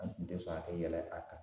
An kun te sɔn a kɛ yɛlɛ a kan